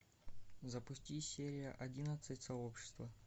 запусти серия одиннадцать сообщество